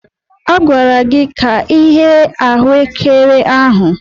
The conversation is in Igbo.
A gwara gị ka ighe ahuekere ahụ.